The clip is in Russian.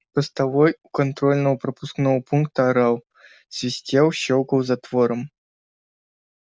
постовой у контрольно пропускного пункта орал свистел щёлкал затвором